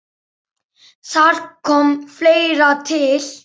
Þar kom fleira til.